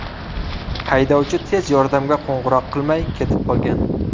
Haydovchi tez yordamga qo‘ng‘iroq qilmay ketib qolgan.